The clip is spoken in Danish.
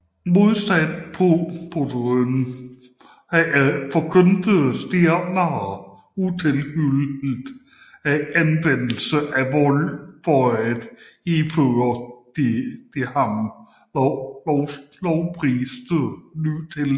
Modsat Proudhon forkyndte Stirner utilhyllet anvendelse af vold for at hidføre de af ham lovpriste ny tilstande